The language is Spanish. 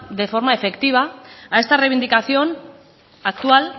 de forma efectiva a esta reivindicación actual